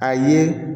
A ye